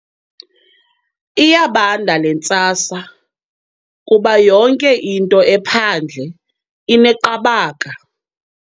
Iyabanda le ntsasa kuba yonke into ephandle ineqabaka.